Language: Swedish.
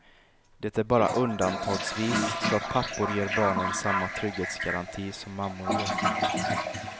Det är bara undantagsvis så att pappor ger barnen samma trygghetsgaranti som mammor gör.